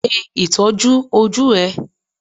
Ṣe Ìtọ́jú ojú ẹ.